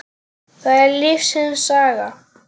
Það er lífsins saga.